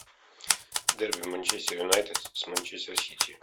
дерби манчестер юнайтед с манчестер сити